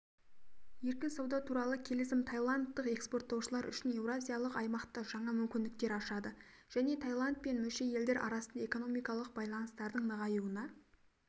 еркін сауда туралы келісім таиландтық экспорттаушылар үшін еуразиялық аймақта жаңа мүмкіндіктер ашады және таиланд пен мүше елдер арасында экономикалық байланыстардың нығаюына